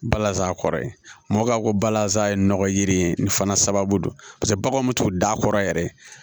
Balazan kɔrɔ ye mɔkɔkaw ko balazan ye nɔgɔ yiri ye nin fana sababu don paseke baganw bɛ to d'a kɔrɔ yɛrɛ